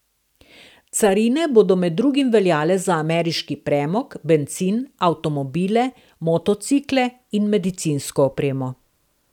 Carine bodo med drugim veljale za ameriški premog, bencin, avtomobile, motocikle in medicinsko opremo.